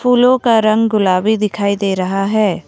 फूलों का रंग गुलाबी दिखाई दे रहा है।